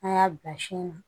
An y'a bila sin na